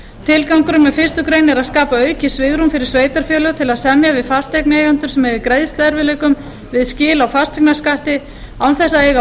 tilgangurinn með fyrstu grein er að skapa aukið svigrúm fyrir sveitarfélög til að semja við fasteignaeigendur sem eiga í greiðsluerfiðleikum við skil á fasteignaskatti án þess að eiga